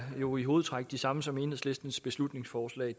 jo i hovedtræk det samme som enhedslistens beslutningsforslag